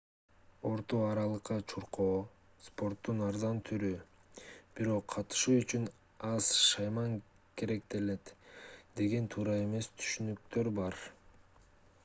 орто аралыкка чуркоо спорттун арзан түрү бирок катышуу үчүн аз шайман керектелет деген туура эмес түшүнүктөр бар